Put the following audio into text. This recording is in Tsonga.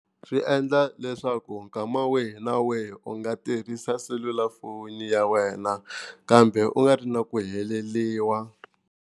Swi endla leswaku nkama wihi na wihi u nga tirhisa selulafoni ya wena kambe u nga ri na ku heleriwa.